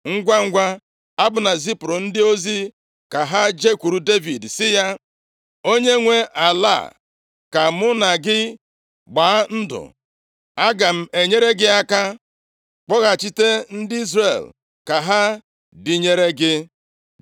Ngwangwa, Abna zipụrụ ndị ozi ka ha jekwuru Devid sị ya, “Onye nwee ala a? Ka mụ na gị gbaa ndụ. Aga m enyere gị aka kpọghachite ndị Izrel ka ha dịnyeere gị.”